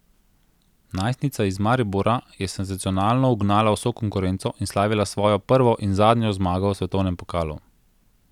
Najstnica iz Maribora je senzacionalno ugnala vso konkurenco in slavila svojo prvo in zadnjo zmago v svetovnem pokalu.